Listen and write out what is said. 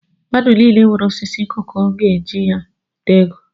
Mmadụ nile nwere osisi koko ga eji ya nweta ego